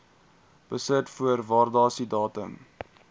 besit voor waardasiedatum